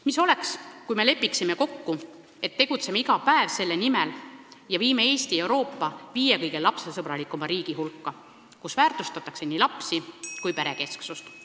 Mis oleks, kui me lepiksime kokku, et tegutseme iga päev selle nimel ja viime Eesti Euroopa viie kõige lapsesõbralikuma riigi hulka, kus väärtustatakse nii lapsi kui perekesksust?